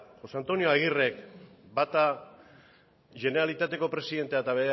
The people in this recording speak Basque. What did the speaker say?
josé antonio agirrek bata generalitateko presidentea eta